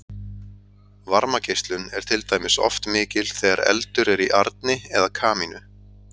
Varmageislun er til dæmis oft mikil þegar eldur er í arni eða kamínu.